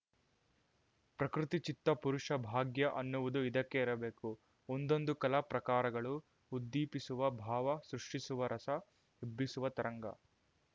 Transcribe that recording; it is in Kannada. ಪ್ರಕೃತಿ ಚಿತ್ತ ಪುರುಷ ಭಾಗ್ಯ ಅನ್ನುವುದು ಇದಕ್ಕೇ ಇರಬೇಕು ಒಂದೊಂದು ಕಲಾ ಪ್ರಕಾರಗಳು ಉದ್ದೀಪಿಸುವ ಭಾವ ಸೃಷ್ಟಿಸುವ ರಸ ಎಬ್ಬಿಸುವ ತರಂಗ